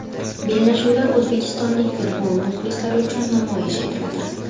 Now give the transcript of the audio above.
Bellashuvlar o‘zbekistonlik futbol muxlislari uchun namoyish etiladi.